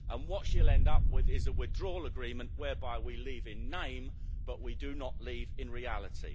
And what she'll end up with is a withdrawal agreement whereby we leave in name but we do not leave in reality.